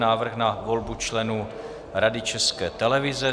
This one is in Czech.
Návrh na volbu členů Rady České televize